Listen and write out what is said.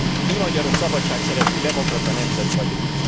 Mi, magyarok, szabadságszerető, demokrata nemzet vagyunk.